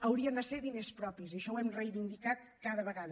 haurien de ser diners propis i això ho hem reivindicat cada vegada